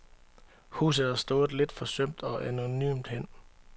Huset har stået lidt forsømt og anonymt hen.